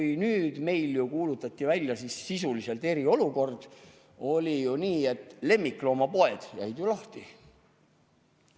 –, et kui meil kuulutati välja sisuliselt eriolukord, oli ju nii, siis lemmikloomapoed jäid lahti.